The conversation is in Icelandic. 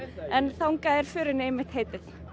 en þangað er förinni einmitt heitið